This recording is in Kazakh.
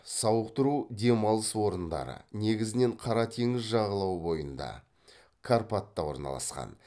сауықтыру демалыс орындары негізінен қара теңіз жағалауы бойында карпатта орналасқан